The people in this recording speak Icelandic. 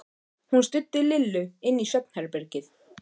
Hún studdi Lillu inn í svefnherbergið.